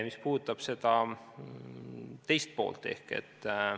Mis puudutab küsimuse teist poolt, siis ...